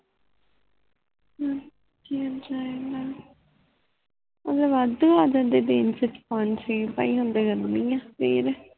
ਹਾਂ ਜੀਅ ਜੀਅ ਹੀ ਗੱਲ ਉਹ ਤੇ ਵਾਦੁ ਆਹ ਜਾਂਦਾ ਦਿਨ ਛ ਪੰਜ ਛੇ ਪੈ ਗਰਮੀ ਆ ਫਿਰ